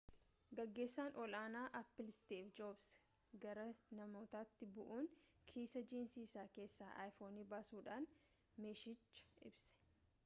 gaggeesan ol aanaa apple steve jobs gara namootatti ba'uun kiisaa jiinsii isaa keessa iphone basuudhan meeshichaa ibsee